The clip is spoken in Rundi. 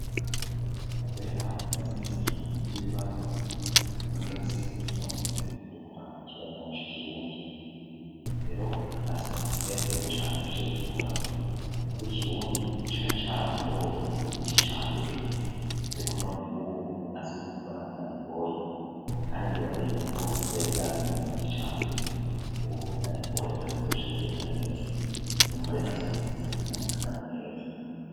Kubera tumaze imiskiri mu buvuta y'ibibazo n'umusi kuyacbamutse udukora ikibazo na nco ikirundi ero nasohotse nezerewe cane npishije kugikora kubo ikirundi cari carangoye mu gice ca mbere, ariko, noneho, ubu nasohotse imbona ko nabikoye hani ndibaza yube uko ni ryabivyananiye mu gice ca mbere ubuhuhuna bitoye, kandi bizosha bigenda neza nyumva are nasohotse insaka anya mu neza.